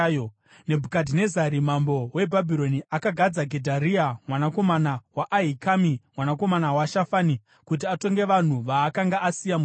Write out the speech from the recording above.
Nebhukadhinezari mambo weBhabhironi akagadza Gedharia mwanakomana waAhikami, mwanakomana waShafani, kuti atonge vanhu vaakanga asiya muJudha.